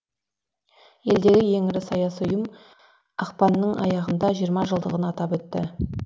елдегі ең ірі саяси ұйым ақпанның аяғында жиырма жылдығын атап өтті